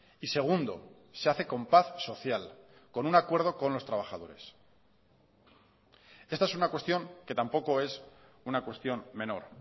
y segundo se hace con paz social con un acuerdo con los trabajadores esta es una cuestión que tampoco es una cuestión menor